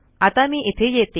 आता मी इथे येते